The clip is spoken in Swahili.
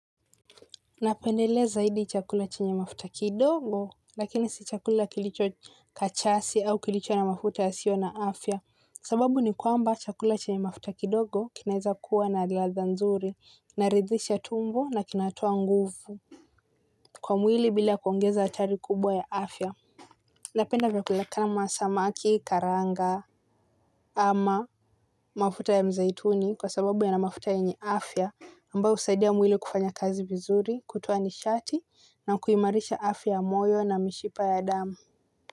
Napendelea zaidi chakula chenye mafuta kidogo lakini si chakula kilicho kachasi au kilicho na mafuta yasiyo na afya sababu ni kwamba chakula chenye mafuta kidogo kinaeza kuwa na ladha nzuri kinaridhisha tumbo na kinatoa nguvu. Kwa mwili bila kuongeza achari kubwa ya afya. Napenda vyakula kama samaki karanga ama mafuta ya mzaituni kwa sababu yana mafuta yenye afya ambayo husaidia mwili kufanya kazi vizuri, kutoa nishati na kuimarisha afya ya moyo na mishipa ya damu.